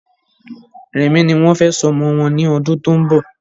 Rẹmi ní wọ́n fẹ sọ ọmọ wọn ní ọdún tó ń bọ̀